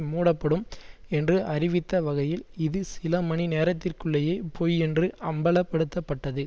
மூடப்படும் என்று அறிவித்த வகையில் இது சில மணி நேரத்திற்குள்ளேயே பொய் என்று அம்பலப்படுத்தப்பட்டது